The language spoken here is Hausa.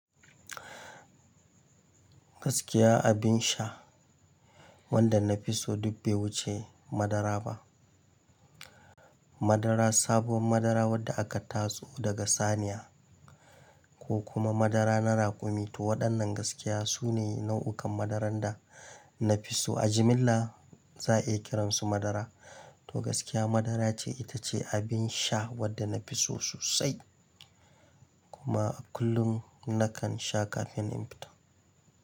Gaskiya abin sha, wanda na fi so duk bai wuce madara ba. Madara, sabuwar madara wadda aka tatso daga saniya, ko kuma madara na raƙumi, toh waɗannan gaskiya su ne nau'ukan madaran da na fi so. A jimilla za a iya kiransu madara. Toh gaskiya madara ce, ita ce abin sha wanda na fi so sosai, kuma a kullum nakan sha kafin inyi fita.